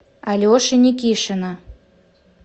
алеши никишина